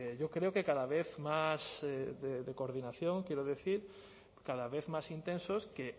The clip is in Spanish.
yo creo que cada vez más de coordinación quiero decir cada vez más intensos que